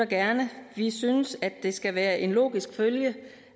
gerne vi synes det skal være en logisk følge